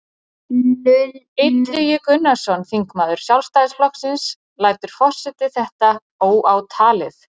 Illugi Gunnarsson, þingmaður Sjálfstæðisflokksins: Lætur forseti þetta óátalið?